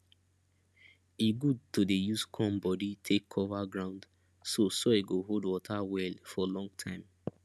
e good to dey use corn body take cover ground so soil go hold water well for long time